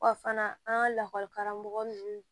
Wa fana an ka lakɔli karamɔgɔ ninnu